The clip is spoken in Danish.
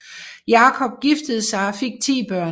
Jakob giftede sig og fik ti børn